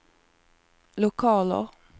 lokaler